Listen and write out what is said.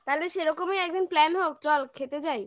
তাহলে সেরকমই একদিন plan হোক চল খেতে যাই